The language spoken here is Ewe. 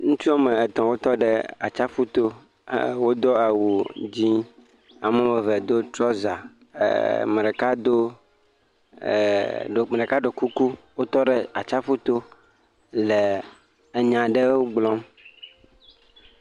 Ŋutsu wɔme etɔ wotɔ ɖe atsaƒuto wodo awu dzi. Ame wɔme eve do trɔsa ame ɖeka do, e ame ɖeka ɖo kuku wotɔ ɖe atsaƒu to le enya aɖe gblɔm.